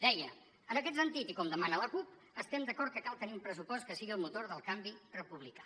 deia en aquest sentit i com demana la cup estem d’acord que cal tenir un pressupost que sigui el motor del canvi republicà